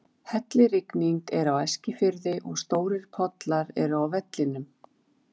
Hellirigning er á Eskifirði og stórir pollar eru á vellinum.